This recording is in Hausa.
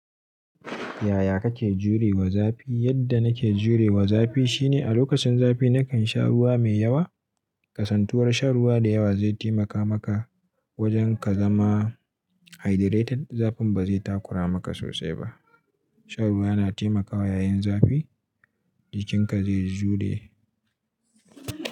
Yaya kake jurewa zafi? Yadda nake jurewa zafi shine a lokacin zafi na kan sha ruwa mai yawa. Kasantuwar shan ruwa da yawa zai taimaka maka wajen ka zama hydrated. Zafin ba zai takura maka sosai ba. Sha ruwa na taimakawa yayin zafi jikinka zai jure.